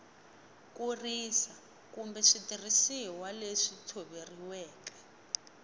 kurisa kumbe switirhisiwa leswi tshoveriweke